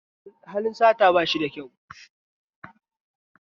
Halin sata bashi da kyau